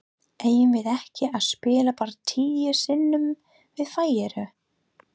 Eigum við ekki að spila bara tíu sinnum við Færeyjar?